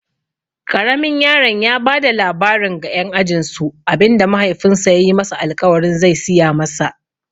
Ƙaramin yaron ya bada labarin ga ƴan ajinsu abinda mahaifinsa yayi masa alƙawarin ze siya masa.